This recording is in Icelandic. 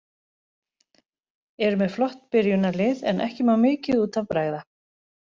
Eru með flott byrjunarlið en ekki má mikið út af bregða.